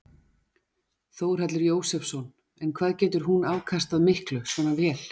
Þórhallur Jósefsson: En hvað getur hún afkastað miklu svona vél?